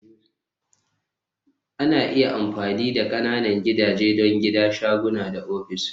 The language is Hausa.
Ana iya amfani da ƙananan gidaje don gida, shaguna da ofis